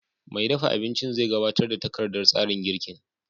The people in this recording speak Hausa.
Mai dafa abinci zai gabatar da takardar tsarin girkin